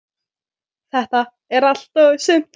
Þetta er allt og sumt